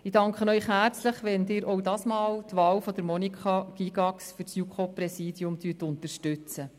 Ich danke Ihnen herzlich, wenn Sie auch dieses Mal die Wahl von Monika Gygax für das JuKo-Präsidium unterstützen.